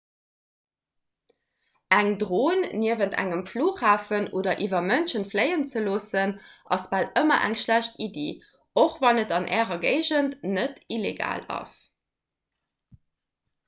eng dron niewent engem flughafen oder iwwer mënsche fléien ze loossen ass bal ëmmer eng schlecht iddi och wann et an ärer géigend net illegal ass